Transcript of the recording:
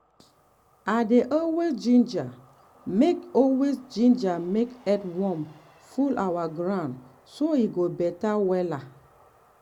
i dey always ginger make always ginger make earthworm full our ground so e go better wella.